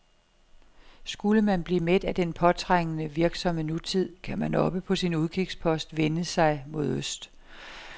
Skulle man blive mæt af den påtrængende, virksomme nutid, kan man oppe på sin udkigspost vende sig mod øst.